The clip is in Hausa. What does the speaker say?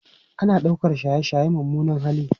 Ana ɗaukar shaye-shaye mummunan hali